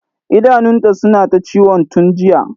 idanunta suna ta ciwon tun jiya